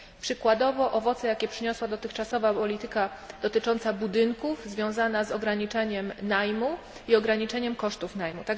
Przykładowo są to owoce, jakie przyniosła dotychczasowa polityka dotycząca budynków, związana z ograniczaniem najmu i ograniczeniem kosztów najmu.